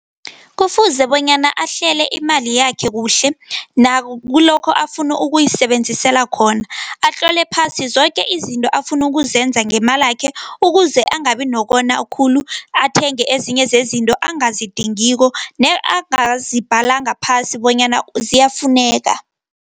Kufuze bonyana ahlele imali yakhe kuhle, nakulokho afuna ukuyisebenzisela khona. Atlole phasi zoke izinto afuna ukuzenza ngemalakhe ukuze angabi nokona khulu, athenge ezinye zezinto angazidingiko, ne angazibhalanga phasi bonyana ziyafuneka.